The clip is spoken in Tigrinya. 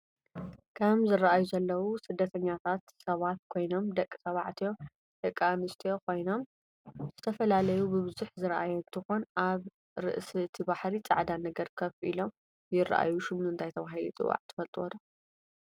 እም ዝርኣዩ ዘለው ስደተኛታት ሰባት ኮይኑም ደቂ ተባዕትዮ ደቂ ኣንስትዮ ኮይኖም ዝትፈላላዩ ብብዝሕ ዝራኣይ እንትኮን ኣብ ርእሲ እቲ ባሕሪ ፃዕዳ ነገር ከፍ ኢሎም ይራኣይ ሽሙ እንታይ ተበሂሉ ይፅዋዕ ትፍልጥዶ?